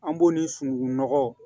An b'o ni sunugunɔgɔ